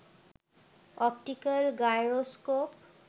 optical gyroscope